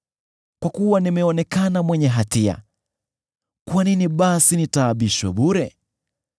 Kwa kuwa nimeonekana mwenye hatia, kwa nini basi nitaabishwe bure?